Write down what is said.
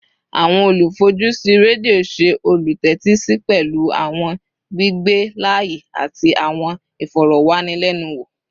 Awọn olufojusi redio ṣe olutẹtisi pẹlu awọn gbigbe laaye ati awọn ifọrọwanilẹnuwo